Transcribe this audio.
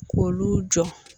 K'olu jɔ.